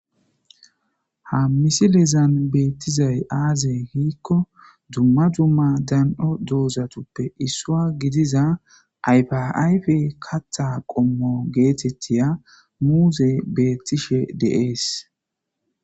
Ha misilezan beettizay aaze giikko dumma dumma dan77o doozatuppe issuwa gidiza ayfa ayfe katha qommo geetettiya muuzey beettishe de7ees.